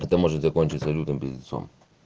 это может закончиться лютым пиздецом